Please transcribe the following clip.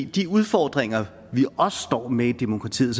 de udfordringer vi jo også står med i demokratiet